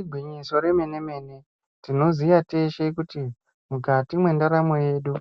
Igwinyiso remene-mene, tinoziya teshe kuti mukati mendaramo yedu